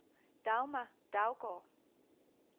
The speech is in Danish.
Dagmar Daugaard